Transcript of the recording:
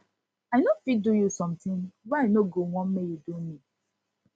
i no fit do you sometin wey i no go wan make you do me